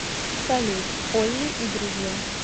салют олли и друзья